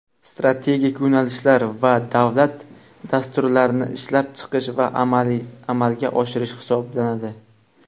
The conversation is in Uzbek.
strategik yo‘nalishlar va davlat dasturlarini ishlab chiqish va amalga oshirish hisoblanadi.